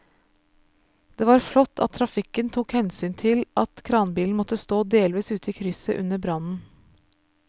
Det var flott at trafikken tok hensyn til at kranbilen måtte stå delvis ute i krysset under brannen.